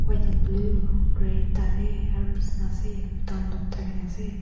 white and blue red tate aru bisna ase dangor thake na ase.